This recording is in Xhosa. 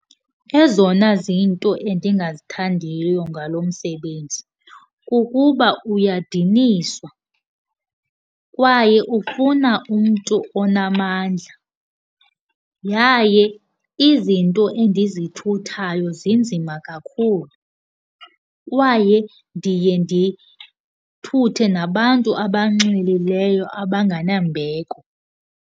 Ezona zinto endingazithandiyo ngalo msebenzi kukuba uyadinisa kwaye ufuna umntu onamandla, yaye izinto endizithuthayo zinzima kakhulu kwaye ndiye ndithuthe nabantu abanxilileyo abangenambeko.